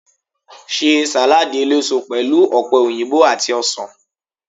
Ṣe sàládì eléso pẹlú ọ̀pẹ̀ òyìnbó àti ọsàn.